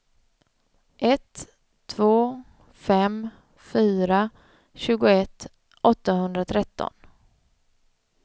ett två fem fyra tjugoett åttahundratretton